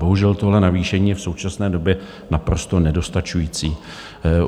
Bohužel tohle navýšení je v současné době naprosto nedostačující.